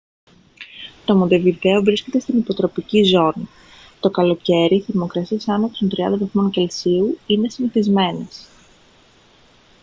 το μοντεβιδέο βρίσκεται στην υποτροπική ζώνη. το καλοκαίρι θερμοκρασίες άνω των 30 °c είναι συνηθισμένες